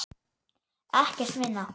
Ekkert minna.